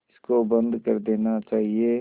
इसको बंद कर देना चाहिए